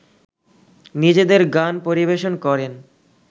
নিজেদের গান পরিবেশন করেন